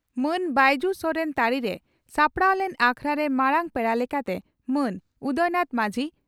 ᱢᱟᱱ ᱵᱟᱹᱭᱡᱩ ᱥᱚᱨᱮᱱ ᱛᱟᱹᱨᱤᱨᱮ ᱥᱟᱯᱲᱟᱣ ᱞᱮᱱ ᱟᱠᱷᱲᱟᱨᱮ ᱢᱟᱨᱟᱝ ᱯᱮᱲᱟ ᱞᱮᱠᱟᱛᱮ ᱢᱟᱱ ᱩᱫᱚᱭᱱᱟᱛᱷ ᱢᱟᱹᱡᱷᱤ